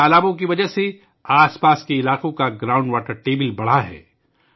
ان تالابوں کی وجہ سے آس پاس کے علاقوں میں زیر زمین پانی کی سطح بڑھ گئی ہے